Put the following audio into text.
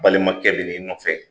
Balimakɛ bin'i nɔfɛ,